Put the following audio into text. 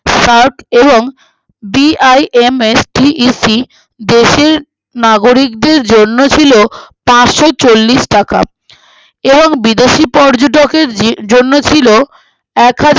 সাত এবং BIMSTEC দেশের নাগরিকদের জন্য ছিল পানসচল্লিশ টাকা এবং বিদেশি পর্যটকের জি জন্য ছিল একহাজার